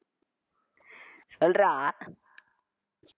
சொல்றா